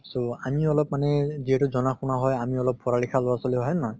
so আমি অলপ মানে যিহেতু জনা শুনা হয় আমি অলপ পঢ়া লিখা লʼৰা ছোৱালী হয় নে নহয়?